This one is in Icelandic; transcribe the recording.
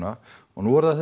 og nú er það